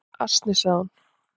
"""Asni, sagði hún."""